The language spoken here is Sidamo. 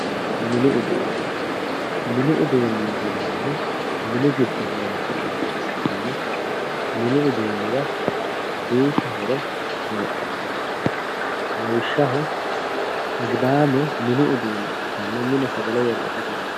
mini uduunne mini uduunneeti yinannihu mini giddo horonsinanniha ikkana mini uduunni yaa duucha horo heedhannosi lawishshaho agidaame mini uduunicho ikkitanna mine sagale worre itate horonsi'nanni.